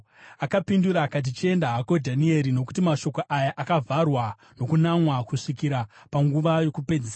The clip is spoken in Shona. Akapindura akati, “Chienda hako, Dhanieri, nokuti mashoko aya akavharwa nokunamwa kusvikira panguva yokupedzisira.